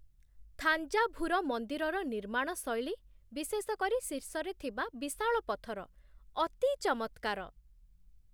ଥାଞ୍ଜାଭୁର ମନ୍ଦିରର ନିର୍ମାଣ ଶୈଳୀ, ବିଶେଷ କରି ଶୀର୍ଷରେ ଥିବା ବିଶାଳ ପଥର, ଅତି ଚମତ୍କାର।